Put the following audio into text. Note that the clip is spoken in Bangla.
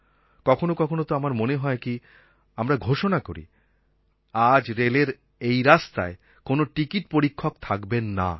কখনও কখনও তো আমার মনে হয় কি আমরা ঘোষণা করি আজ রেলের এই রাস্তায় কোনও টিকিট পরীক্ষক থাকবেন না